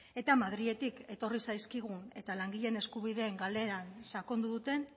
eta madriletik etorri zaizkigu eta langileen eskubideen galeran sakondu duten